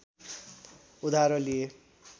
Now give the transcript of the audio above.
उधारो लिए